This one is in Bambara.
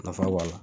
Nafa b'a la